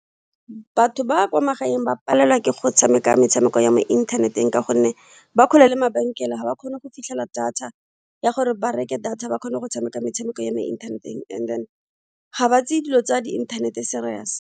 Batho ba kwa magaeng ba palelwa ke go tshameka metshameko ya mo inthaneteng ka gonne ba kgole le mabenkele ga ba kgone go fitlhela data ya gore ba reke data ba kgone go tshameka metshameko ya mo inthaneteng and then ga ba tseye dilo tsa di internet-e serious.